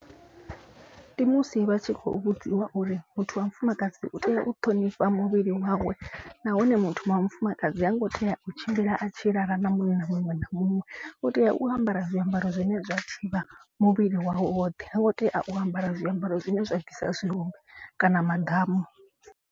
Ndi musi vha tshi khou vhudziwa uri muthu wa mufumakadzi u tea u ṱhonifha muvhili wawe. Nahone muthu wa mufumakadzi ha ngo tea u tshimbila a tshi lala na munna muṅwe na muṅwe. U tea u ambara zwiambaro zwine zwa thivha muvhili wawe woṱhe. Ha ngo tea u ambara zwiambaro zwine zwa bvisa zwirumbi kana maḓamu.